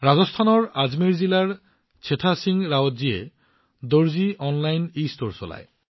ৰাজস্থানৰ আজমেৰ জিলাৰ চেথা সিং ৰাৱতজীয়ে দৰ্জী অনলাইন ইষ্টোৰ চলায়